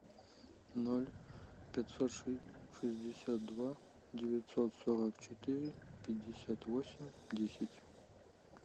ноль пятьсот шестьдесят два девятьсот сорок четыре пятьдесят восемь десять